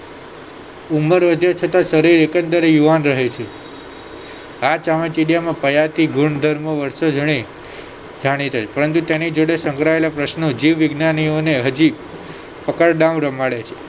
ઉમર વધે છે તો શરીર એકંદરે યુવાન રહે છે આ ચામાચીડિયામાં પયાચી ગુણધર્મ વસ્તુ જડે જાણી દઈશ પરંતુ તેની જોડે સંગ્રહાયેલા પ્રશ્નો જીવવિજ્ઞાનીઓને હજી પણ પકડદાવ રમાડે છે